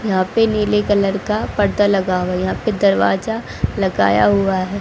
यहां पे नीले कलर का पर्दा लगा हुआ है यहां पे दरवाजा लगाया हुआ है।